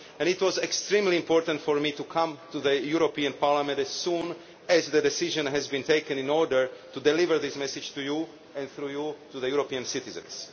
It was extremely important for me to come to the Parliament as soon as the decision was taken in order to deliver this message to you and, through you, to the European citizens.